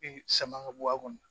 sama ka bɔ a kɔnɔ